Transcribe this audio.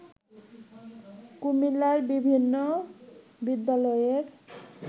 কুমিল্লার বিভিন্ন বিদ্যালয়ের